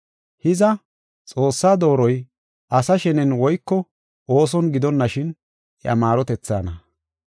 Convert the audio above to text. Hiza, Xoossaa dooroy asa shenen woyko ooson gidonashin iya maarotethaana.